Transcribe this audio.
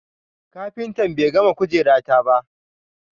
kafintan be gama kujera ta ba.